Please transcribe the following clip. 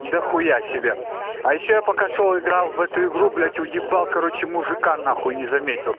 до хуя себе а ещё я пока шёл играл в эту игру блять уебал короче мужика нахуй не заметил